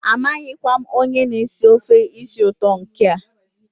amaghịkwa m onye na-esi ofe isi ụtọ nke a.